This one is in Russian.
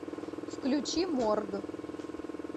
включи морг